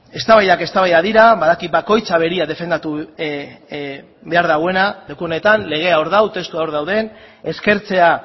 eztabaidak eztabaidak dira badakit bakoitzak berea defendatu behar duela leku honetan legea hor dago testuak hor daude eskertzea